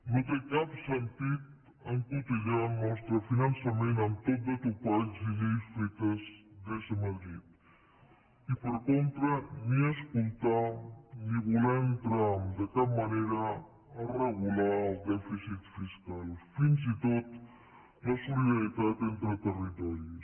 no té cap sentit encotillar el nostre finançament amb tot de topalls i lleis fetes des de madrid i per contra ni escoltar ni voler entrar de cap manera a regular el dèficit fiscal fins i tot la solidaritat entre territoris